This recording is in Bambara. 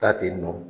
Taa ten nɔ